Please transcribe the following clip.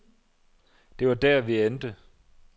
Det var der vi endte.